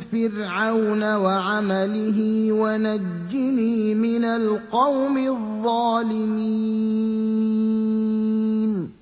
فِرْعَوْنَ وَعَمَلِهِ وَنَجِّنِي مِنَ الْقَوْمِ الظَّالِمِينَ